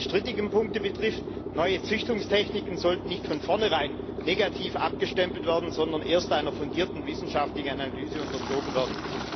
Was die strittigen Punkte betrifft Neue Züchtungstechniken sollten nicht von vornherein als negativ abgestempelt, sondern erst einer fundierten wissenschaftlichen Analyse unterzogen werden.